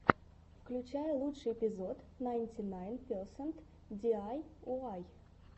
включай лучший эпизод найнтинайнперсент диайуай